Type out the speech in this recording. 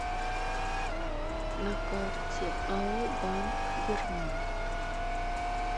на карте ао банк ермак